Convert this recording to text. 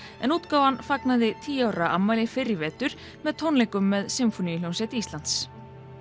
en útgáfan fagnaði tíu ára afmæli fyrr í vetur með tónleikum með Sinfóníuhljómsveit Íslands